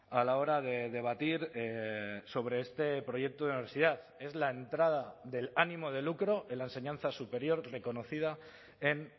a la hora de debatir sobre este proyecto de universidad es la entrada del ánimo de lucro en la enseñanza superior reconocida en